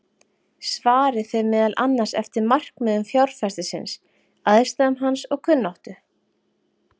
Svarið fer meðal annars eftir markmiðum fjárfestisins, aðstæðum hans og kunnáttu.